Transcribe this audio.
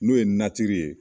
N'o ye n ye